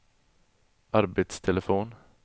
arbetstelefon